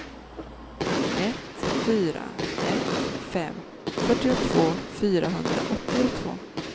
ett fyra ett fem fyrtiotvå fyrahundraåttiotvå